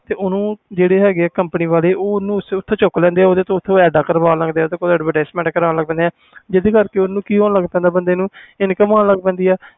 ਓਹਨੂੰ ਕਿ ਕਰਦੇ ਕੰਪਨੀ ਵਾਲੇ ਚੁੱਕ ਲੈਂਦੇ ਆ ਓਹਦੇ ਤੋਂ ਏਡਾ ਕਰਵਾਣ ਲਗ ਜਾਂਦੇ ਆ ਕੋਈ advertisement ਕਰਨ ਲੱਗ ਜਾਂਦੇ ਆ ਜਿੰਦੇ ਕਰਕੇ ਬੰਦੇ ਨੂੰ income ਹੋਣ ਲਗ ਜਾਂਦੀ ਆ